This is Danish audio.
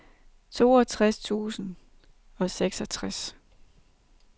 toogtres tusind og seksogtres